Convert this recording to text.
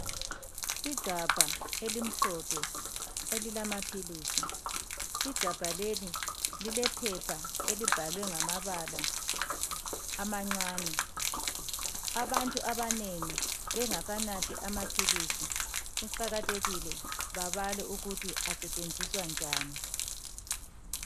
Igabha elimhlophe elilamaphilisi, igabha leli lilephepha elibhalwe ngamabala amancane. Abantu abanengi bengakanathi amaphilisi kuqakathekile babale ukuthi asetshenziswa njani.